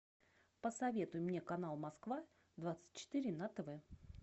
посоветуй мне канал москва двадцать четыре на тв